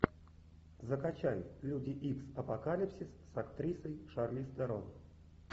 закачай люди икс апокалипсис с актрисой шарлиз терон